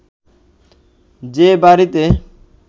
যে বাড়িতে